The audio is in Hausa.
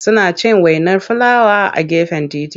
Suna cin wainar filawa a gefen titi.